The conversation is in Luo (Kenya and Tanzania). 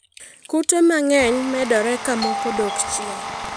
Kute mang'eny medore ka moko dok chien.